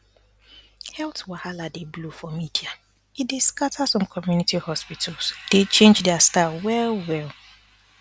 health wahala dey blow for media e dey scatter some community hospitals dey change their style well well